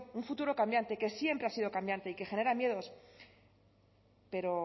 un futuro cambiante que siempre ha sido cambiante y que genera miedos pero